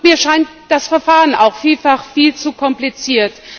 Mir scheint das Verfahren auch vielfach viel zu kompliziert.